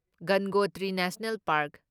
Gangotri national park